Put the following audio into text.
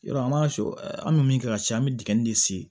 Yɔrɔ an b'a sɔ an bɛ min kɛ ka ci an bɛ dingɛ de se